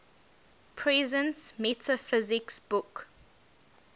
presence metaphysics book